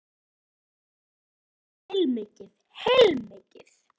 Ég á eftir að gera heilmikið, heilmikið.